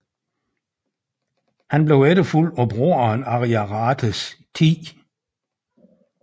Han blev efterfulgt af broderen Ariarathes 10